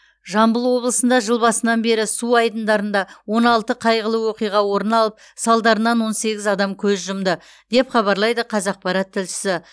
жамбыл облысында жыл басынан бері су айдындарында он алты қайғылы оқиға орын алып салдарынан он сегіз адам көз жұмды деп хабарлайды қазақпарат тілшісі